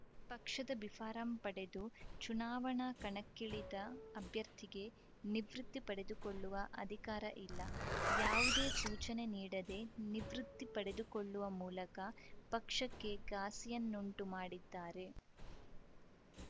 ಪಕ್ಷದ ಬಿಫಾರಂ ಪಡೆದು ಚುನಾವಣಾ ಕಣಕ್ಕಿಳಿದ ಅಭ್ಯರ್ಥಿಗೆ ನಿವೃತ್ತಿ ಪಡೆದುಕೊಳ್ಳುವ ಅಧಿಕಾರ ಇಲ್ಲ ಯಾವುದೇ ಸೂಚನೆ ನೀಡದೆ ನಿವೃತ್ತಿ ಪಡೆದುಕೊಳ್ಳುವ ಮೂಲಕ ಪಕ್ಷಕ್ಕೆ ಘಾಸಿಯನ್ನುಂಟು ಮಾಡಿದ್ದಾರೆ